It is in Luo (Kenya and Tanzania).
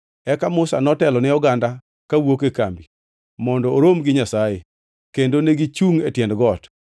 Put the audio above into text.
Eka Musa notelo ne oganda kawuok e kambi mondo orom gi Nyasaye, kendo negichungʼ e tiend got.